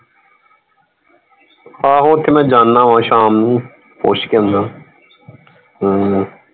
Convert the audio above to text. ਆਹੋ ਓਥੇ ਮੈਂ ਜਾਣਾ ਵਾ ਸ਼ਾਮ ਨੂੰ ਪੁੱਛ ਕੇ ਆਉਂਦਾ ਹਮ